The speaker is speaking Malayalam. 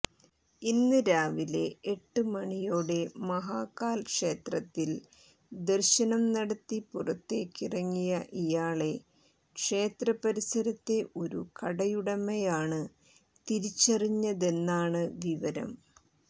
ഇന്ന് രാവിലെ എട്ട് മണിയോടെ മഹാകാൽ ക്ഷേത്രത്തിൽ ദർശനം നടത്തി പുറത്തേക്കിറങ്ങിയ ഇയാളെ ക്ഷേത്രപരിസരത്തെ ഒരു കടയുടമയാണ് തിരിച്ചറിഞ്ഞതെന്നാണ് വിവരം